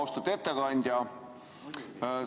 Austatud ettekandja!